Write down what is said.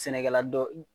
Sɛnɛkɛla dɔ